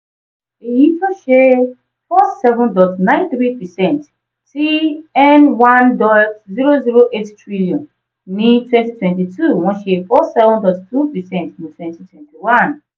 eyi to ṣe four seven dot nine three percent ti n one dot zero zero eight trillion ní twenty twenty two wọn ṣe four seven dot two percent ní twenty twenty one.